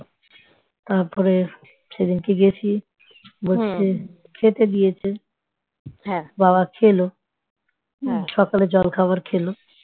সকালে জল খাবার খেলো ।